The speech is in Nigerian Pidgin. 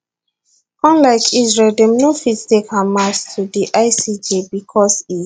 unlike israel dem no fit take hamas to di icj becos e